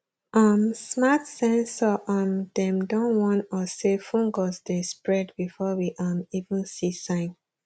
um smart sensor um dem don warn us say fungus dey spread before we um even see sign